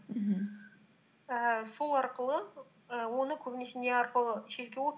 мхм ііі сол арқылы і оны көбінесе не арқылы шешуге